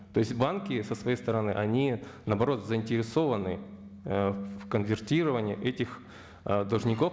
то есть банки со своей стороны они наоборот заинтересованы ы в конвертировании этих ы должников